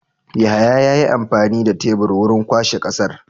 Yahaya yayi amfani da tebur wurin kwashe ƙasar.